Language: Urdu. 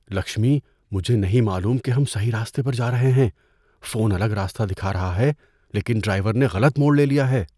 لکشمی، مجھے نہیں معلوم کہ ہم صحیح راستے پر جا رہے ہیں۔ فون الگ راستہ دکھا رہا ہے لیکن ڈرائیور نے غلط موڑ لے لیا ہے۔